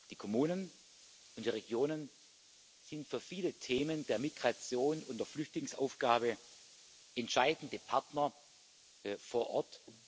Die Kommunen und die Regionen sind für viele Themen der Migration und der Flüchtlingsaufgabe entscheidende Partner vor Ort.